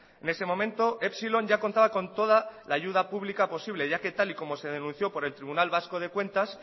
en ese momento epsilon ya contaba con toda la ayuda pública posible ya que tal y como se denunció por el tribunal vasco de cuentas